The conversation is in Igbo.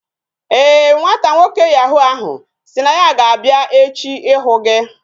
Ee, nwata nwoke yahu ahụ sị na ya ga-abịa echi ịhụ gị